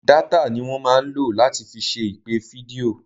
Dátà ni wọ́n máa ń lò láti fi ṣe ìpè fídíò.